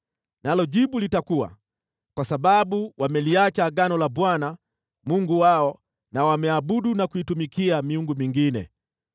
Nalo jibu litakuwa: ‘Kwa sababu wameliacha agano la Bwana , Mungu wao, na wameabudu na kuitumikia miungu mingine.’ ”